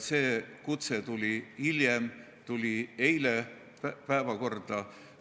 See kutse tuli hiljem, see tuli eile päevakorda.